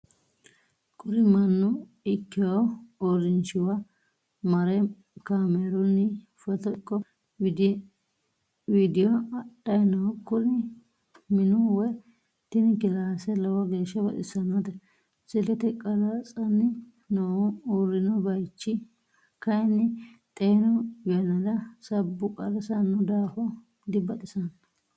Kuri mannu ikkewu uurinshiwa mare kaameerunni foto ikko widiyo adhay no. Kuni minu woy tini killassa lowo geeshsa baxissannote. silkete qarratsanni noohu urrinno bayichi kayin xeenu yannara sabbu qarrisanno daafo dibaxisanno.